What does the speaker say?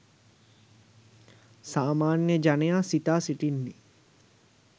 සාමාන්‍ය ජනයා සිතා සිටින්නේ